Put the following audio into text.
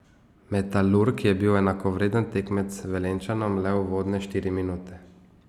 Metalurg je bil enakovreden tekmec Velenjčanom le uvodne štiri minute.